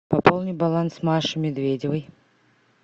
пополни баланс маши медведевой